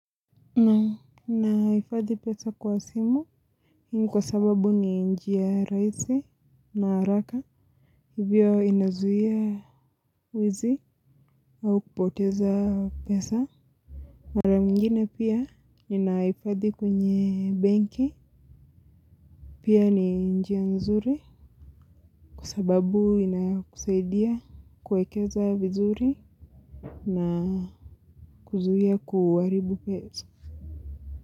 Naam nahifadhi pesa kwa simu, kwa sababu ni njia rahisi na haraka, hivyo inazuia uwizi au kupoteza pesa. Mara nyingine pia, ninahifadhi kwenye benki, pia ni njia nzuri, kwa sababu ina kusaidia kuekeza vizuri na kuzuia kuaribu pesa.